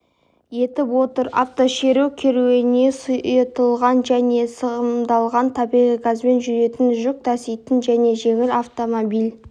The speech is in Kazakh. етіп отыр автошеру керуені сұйытылған және сығымдалған табиғи газбен жүретін жүк таситын және жеңіл автомобиль